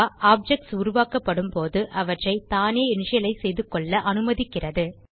objects உருவாக்கப்படும் போது அவற்றை தானே இனிஷியலைஸ் செய்துகொள்ள அனுமதிக்கிறது